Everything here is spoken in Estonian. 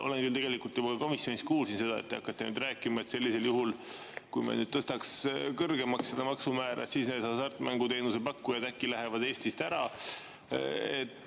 Ma küll juba komisjonis kuulsin seda, mida te nüüd ilmselt hakkate rääkima, et kui me tõstaks seda maksumäära kõrgemaks, siis need hasartmänguteenuse pakkujad lähevad äkki Eestist ära.